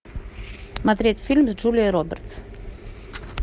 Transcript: смотреть фильм с джулией робертс